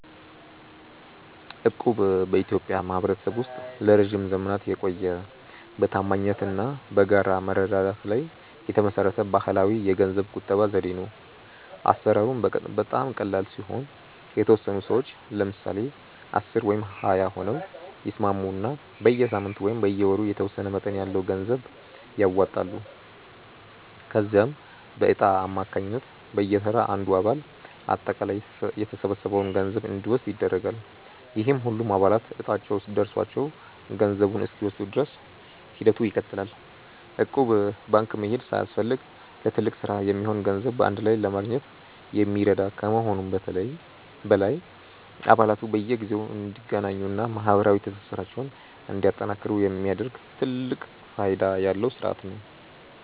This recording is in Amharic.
እቁብ በኢትዮጵያ ማኅበረሰብ ውስጥ ለረጅም ዘመናት የቆየ፣ በታማኝነት እና በጋራ መረዳዳት ላይ የተመሠረተ ባሕላዊ የገንዘብ ቁጠባ ዘዴ ነው። አሠራሩም በጣም ቀላል ሲሆን፤ የተወሰኑ ሰዎች (ለምሳሌ 10 ወይም 20 ሆነው) ይስማሙና በየሳምንቱ ወይም በየወሩ የተወሰነ መጠን ያለው ገንዘብ ያዋጣሉ። ከዚያም በዕጣ አማካኝነት በየተራ አንዱ አባል አጠቃላይ የተሰበሰበውን ገንዘብ እንዲወስድ ይደረጋል፤ ይህም ሁሉም አባላት ዕጣቸው ደርሷቸው ገንዘቡን እስኪወስዱ ድረስ ሂደቱ ይቀጥላል። እቁብ ባንክ መሄድ ሳያስፈልግ ለትልቅ ሥራ የሚሆን ገንዘብ በአንድ ላይ ለማግኘት የሚረዳ ከመሆኑም በላይ፣ አባላቱ በየጊዜው እንዲገናኙና ማኅበራዊ ትስስራቸውን እንዲያጠናክሩ የሚያደርግ ትልቅ ፋይዳ ያለው ሥርዓት ነው።